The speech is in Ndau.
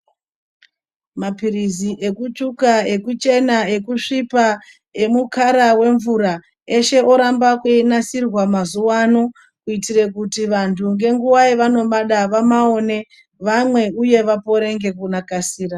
Maphirizi ekutsvuka, ekuchenaa ekusvipa, emukara wemvura eshe oramba einasirwa mazuwa ano kuitire kuti vantu ngenguva yavanomada vamaone vamwe uye vapore ngekukasira.